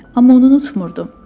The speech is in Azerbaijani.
Amma onu unutmurdum.